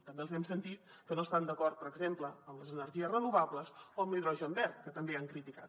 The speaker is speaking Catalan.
també els hem sentit que no estan d’acord per exemple amb les energies renovables o amb l’hidrogen verd que també han criticat